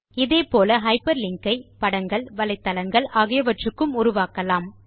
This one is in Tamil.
இதே போல ஹைப்பர்லிங்க் ஐ படங்கள் வலைத்தளங்கள் ஆகியவற்றுக்கும் உருவாக்கலாம்